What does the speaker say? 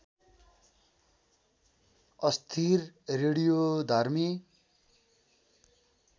अस्थिर रेडियोधर्मी